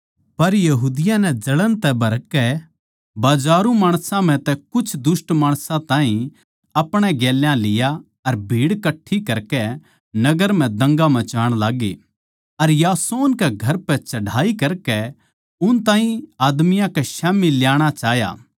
पर यहूदियाँ नै जळण तै भरकै बाजारू माणसां म्ह तै कुछ दुष्ट माणसां ताहीं अपणे गेल्या लिया अर भीड़ कट्ठी करकै नगर म्ह दंगा मचाण लाग्गे अर यासोन कै घर पै चढ़ाई करकै उन ताहीं आदमियाँ कै स्याम्ही ल्याणा चाह्या